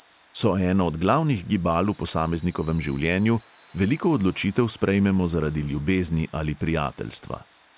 So eno od glavnih gibal v posameznikovem življenju, veliko odločitev sprejmemo zaradi ljubezni ali prijateljstva.